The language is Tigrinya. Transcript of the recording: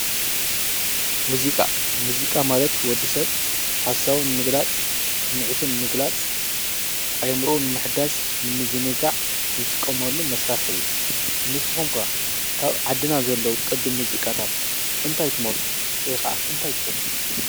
ሙዚቃ መዚቃ ማለት ወድ ሰብ ሓሳቡ ንምግላፅ ስሚዒቱ ንምግላፅ አእምርኡ ንምሕዳስ ንምዝንጋዕ ዝጥቀመሉ መሳርሒ እዩ ንስኩም ከ ካብ አብ ዓድና ዘለው ቅድም መዚቃታት እንታይ ትመርፁ ወይ ከዓ እንታይ ትፈትው ።